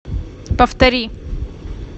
повтори